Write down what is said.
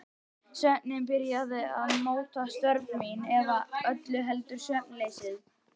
Svefninn byrjaði að móta störf mín- eða öllu heldur svefnleysið.